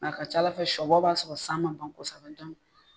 a ka c'Ala fɛ sɔbɔ b'a sɔrɔ san ma ban kosɛbɛ